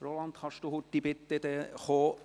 Roland Schneeberger, können Sie bitte rasch kommen?